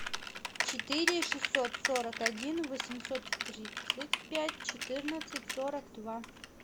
четыре шестьсот сорок один восемьсот тридцать пять четырнадцать сорок два